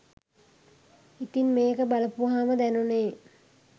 ඉතිං මේක බලපුවහම දැනුණේ